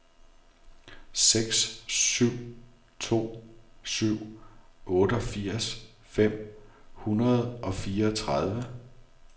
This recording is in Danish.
seks syv to syv otteogfirs fem hundrede og fireogtredive